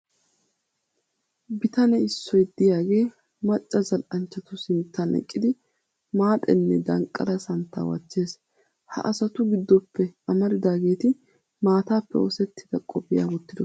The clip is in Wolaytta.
Bitane issoy diyagee macca zal"anchchatu sinttan eqqidi maaxe nne danqqala santtaa wachchees. Ha asatu giddoppe amaridaageeti maataappe oosettida qophiya wottidosona.